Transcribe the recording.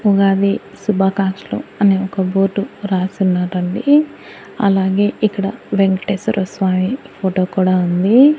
ఉగాది శుభాకాంక్షలు అని ఒక బోర్డు రాసి ఉన్నారండి అలాగే ఇక్కడ వెంకటేశ్వర స్వామి ఫోటో కూడా ఉంది.